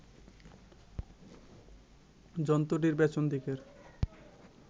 জন্তুটির পেছন দিকের